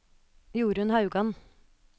Jorunn Haugan